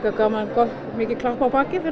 mikið klapp á bakið fyrir